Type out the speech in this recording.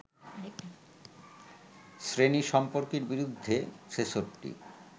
শ্রেণী-সম্পর্কের বিরুদ্ধে ৬৬